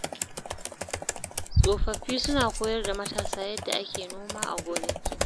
Tsofaffi suna koyar da matasa yadda ake noma a gonaki.